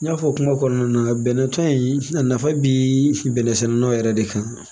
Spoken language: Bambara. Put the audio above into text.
N y'a fɔ kuma kɔnɔna na bɛnɛ tɔn in a nafa bi bɛnɛ sɛnɛlaw yɛrɛ de kan